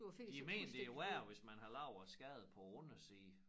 De mener det værre hvis man har lavet en skade på æ underside